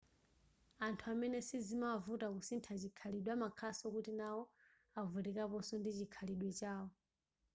anthu amene sizimawavuta kusintha chikhalidwe amakhalanso kuti nawo avutikaponso ndi chikhalidwe chawo